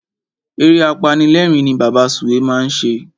Eré apanilérìn ni Bàbá Sùwé máa ń ṣe.